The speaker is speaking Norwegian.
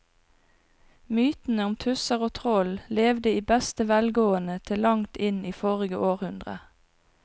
Mytene om tusser og troll levde i beste velgående til langt inn i forrige århundre.